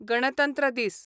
गणतंत्र दीस